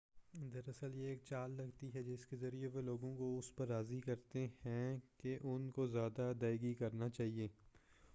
دراصل یہ ایک چال لگتی ہے جس کے ذریعہ وہ لوگوں کو اس پر راضی کرتے ہیں کہ ان کو زیادہ ادائگی کرنا چاہئے